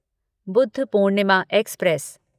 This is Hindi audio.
बुधपूर्णिमा एक्सप्रेस